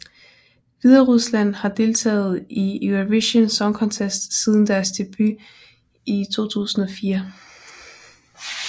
Hviderusland har deltaget i Eurovision Song Contest siden deres debut i 2004